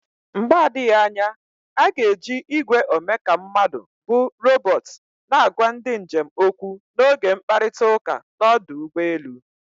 Mgbe adịghị anya a ga-eji igwe omeka mmadụ bụ robot na-agwa ndị njem okwu n'oge mkparịta ụka n'ọdụ ụgbọ elu.